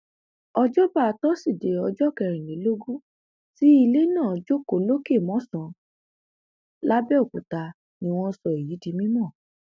òjọba tosidee ọjọ kẹrìnlélógún tí ilé náà jókòó lọkẹ mòsàn làbẹọkúta ni wọn sọ èyí di mímọ